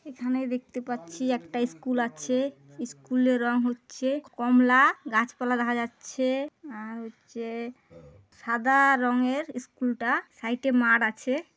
এখানে দেখতে পাচ্ছি একটা ইস্কুল আছে। ইস্কুল -এর রঙ হচ্ছে কমলা-আ। গাছপালা দেখা যাচ্ছে-এ। আর হচ্ছে-এ সাদা-আ রঙের ইস্কুল -টা। সাইড -এ মাঠ আছে।